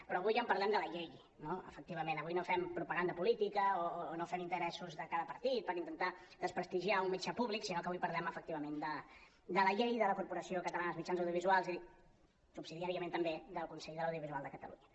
però avui parlem de la llei no efectivament avui no fem propaganda política o no fem interessos de cada partit per intentar despres·tigiar un mitjà públic sinó que avui parlem efectivament de la llei de la corpo·ració catalana de mitjans audiovisuals i subsidiàriament també del consell de l’audiovisual de catalunya